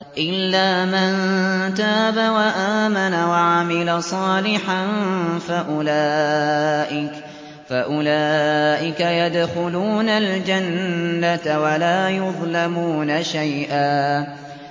إِلَّا مَن تَابَ وَآمَنَ وَعَمِلَ صَالِحًا فَأُولَٰئِكَ يَدْخُلُونَ الْجَنَّةَ وَلَا يُظْلَمُونَ شَيْئًا